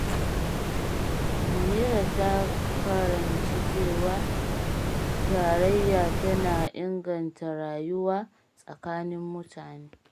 Munira ta karanci cewa tarayya tana inganta rayuwa tsakanin mutane.